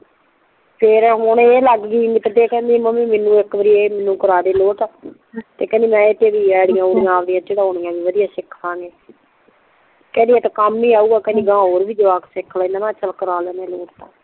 ਤੇ ਫੇਰ ਹੁਣ ਏ ਲੱਗ ਗਈ ਕੇਂਡੀ ਮੰਮੀ ਮੈਨੂ ਏ ਮੈਂਨੂੰ ਇੱਕ ਵਾਰੀ ਕਰਵਾ ਦੇ ਲਾੱਟ ਤੇ ਕਿਹੰਦੀ ਮੈਂ ਏਦੇ ਤੇ ਆਈ ਡੀ ਊਈ ਡੀ ਏਡੇ ਤੇ ਵਧੀਆ ਸਿੱਖਣਗੇ ਕਿਹੰਦੀ ਕੰਮ ਹੀ ਸਿੱਖਾਂਗੇ ਕਿਹੰਦੀ ਕੰਮ ਹੀ ਆਊਗਾ ਕਿਹੰਦੀ ਗਾ ਹੋਰ ਵੀ ਜਵਾਕ ਸਿਖ ਲੈਣਗੇ ਮੈਂ ਕਿਹਾ ਚੱਲ ਕਰਾ ਲੈਣਦੇ ਆ ਲਾੱਟ